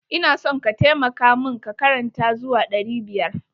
Ina son ka taimaka mun ka karanta zuwa ɗari biyar.